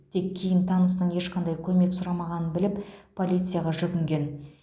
тек кейін танысының ешқандай көмек сұрамағанын біліп полицияға жүгінген